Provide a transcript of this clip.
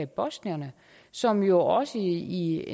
bosnierne som jo også i et